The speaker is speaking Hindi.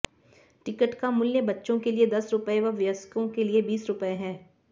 टिकट का मूल्य बच्चों के लिए दस रुपये व वयस्कों के लिए बीस रुपये है